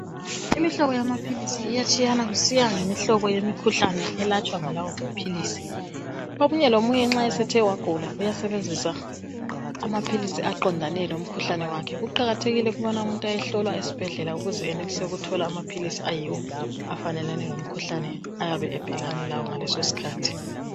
imihlobo yamaphilisi iyatshiyana kusiya ngemihlobo yemikhuhlane elatshwa ngalawo amaphilisi omunye lomunye nxa esethe wagula uyasebenzisa amaphilisi aqondane lomkhuhlane kuqakathekile ukubana umuntu ayohlolwa esibhedlela ukuze enelise ukuthola amaphilisi ayiwo afanelane lomkhuhlane ayabe ebhekane lawo ngalesosikhathi